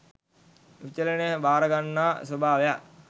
විචලනයන් භාර ගන්නා ස්වභාවයක්